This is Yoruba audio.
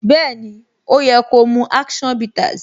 Bẹẹni, ó yẹ ko mu action bitters.